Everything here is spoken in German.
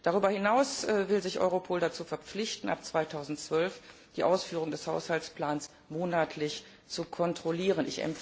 Darüber hinaus will sich Europol dazu verpflichten, ab 2012 die Ausführung des Haushaltsplans monatlich zu kontrollieren.